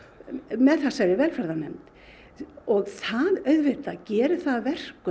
með þessari velferðarnefnd og það auðvitað gerir það að verkum